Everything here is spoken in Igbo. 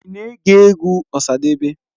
Ị na-ege egwu Osadebe?